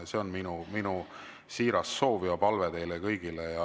See on minu siiras soov ja palve teile kõigile.